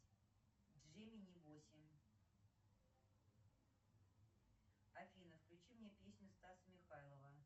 джимини восемь афина включи мне песню стаса михайлова